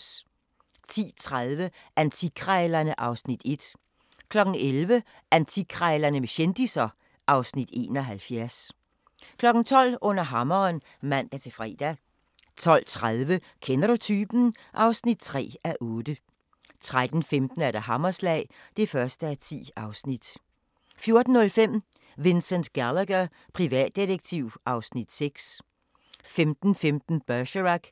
10:30: Antikkrejlerne (Afs. 1) 11:00: Antikkrejlerne med kendisser (Afs. 71) 12:00: Under hammeren (man-fre) 12:30: Kender du typen? (3:8) 13:15: Hammerslag (1:10) 14:05: Vincent Gallagher, privatdetektiv (Afs. 6) 15:15: Bergerac: